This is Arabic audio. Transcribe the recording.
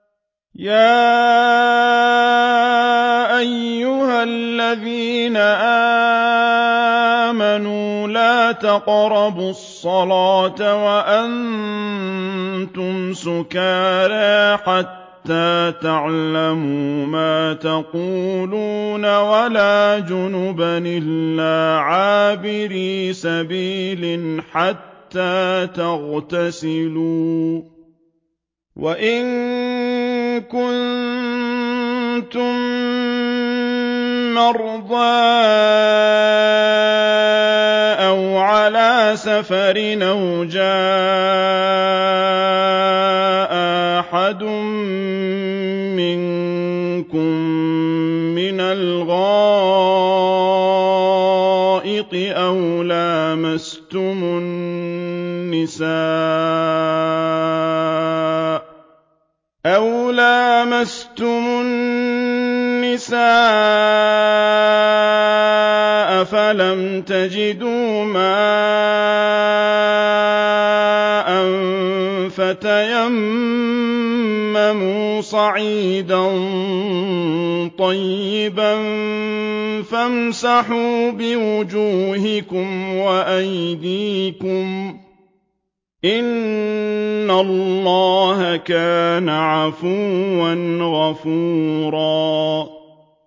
يَا أَيُّهَا الَّذِينَ آمَنُوا لَا تَقْرَبُوا الصَّلَاةَ وَأَنتُمْ سُكَارَىٰ حَتَّىٰ تَعْلَمُوا مَا تَقُولُونَ وَلَا جُنُبًا إِلَّا عَابِرِي سَبِيلٍ حَتَّىٰ تَغْتَسِلُوا ۚ وَإِن كُنتُم مَّرْضَىٰ أَوْ عَلَىٰ سَفَرٍ أَوْ جَاءَ أَحَدٌ مِّنكُم مِّنَ الْغَائِطِ أَوْ لَامَسْتُمُ النِّسَاءَ فَلَمْ تَجِدُوا مَاءً فَتَيَمَّمُوا صَعِيدًا طَيِّبًا فَامْسَحُوا بِوُجُوهِكُمْ وَأَيْدِيكُمْ ۗ إِنَّ اللَّهَ كَانَ عَفُوًّا غَفُورًا